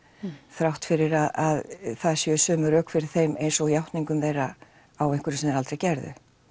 þrátt fyrir að það séu sömu rök fyrir þeim eins og játningum þeirra á einhverju sem þeir aldrei gerðu